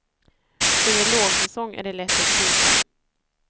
Under lågsäsong är det lätt att pruta.